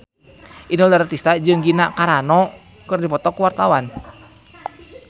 Inul Daratista jeung Gina Carano keur dipoto ku wartawan